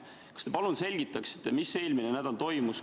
Kas te palun selgitaksite, mis eelmine nädal toimus?